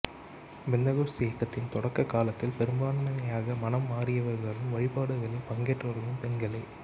பெந்தகோஸ்து இயக்கத்தின் தொடக்க காலத்தில் பெரும்பான்மையாக மனம் மாறியவர்களும் வழிபாடுகளில் பங்கேற்றவர்களும் பெண்களே